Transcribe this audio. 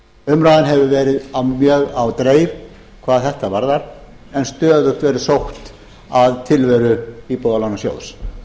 umræðan hefur verið mjög á dreif hvað þetta varðar en stöðugt verið sótt að tilveru íbúðalánasjóðs